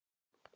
Hraunborgum